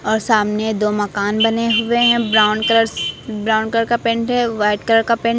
और सामने दो मकान बने हुए हैं ब्राउन कलर ब्राउन कलर का पेंट है वाइट कलर का पेंट --